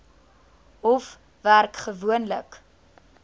hof werk gewoonlik